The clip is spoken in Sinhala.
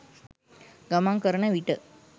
ගමන් කරන විට